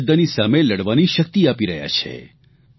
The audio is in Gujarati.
અંધશ્રદ્ધાની સામે લડવાની શક્તિ આપી રહ્યા છે